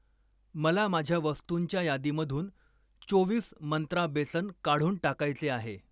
मला माझ्या वस्तुंच्या यादीमधून चोवीस मंत्रा बेसन काढून टाकायचे आहे.